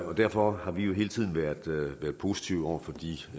derfor har vi jo hele tiden været positive over for de